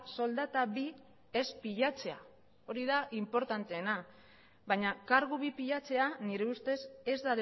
soldata bi ez pilatzea hori da inportanteena baina kargu bi pilatzea nire ustez ez